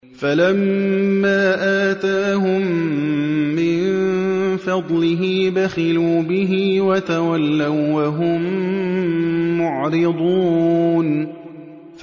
فَلَمَّا آتَاهُم مِّن فَضْلِهِ بَخِلُوا بِهِ وَتَوَلَّوا وَّهُم مُّعْرِضُونَ